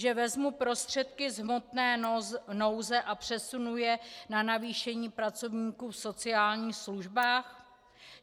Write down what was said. Že vezmu prostředky z hmotné nouze a přesunu je na navýšení pracovníků v sociálních službách?